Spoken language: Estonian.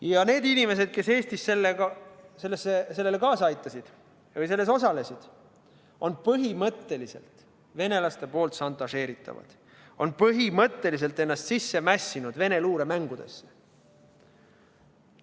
Ja need inimesed, kes Eestis sellele kaasa aitasid või selles osalesid, on põhimõtteliselt venelaste poolt šantažeeritavad, on põhimõtteliselt ennast sisse mässinud Vene luure mängudesse.